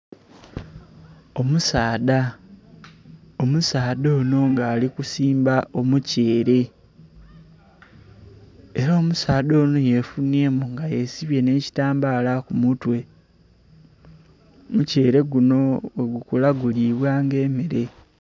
Omusaadha, omusaadha ono nga ali kusimba omutyeere, era omusaadha ono yefunyemu nga yesibye ne kitambaala ku mutwe. Omutyeere guno bwegukula gulibwa nga emmere